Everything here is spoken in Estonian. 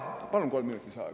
Palun kolm minutit lisaaega.